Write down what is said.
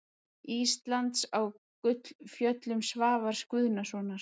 Íslands á Gullfjöllum Svavars Guðnasonar.